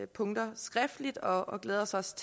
punkter skriftligt og glæder os også